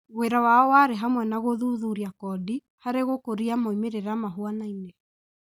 Wĩra wao warĩ hamwe na gũthuthuria kondi harĩ gũkũria moimĩrĩra mahuanaine